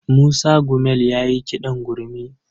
Musa Gumel ya yi kiɗan gurmi.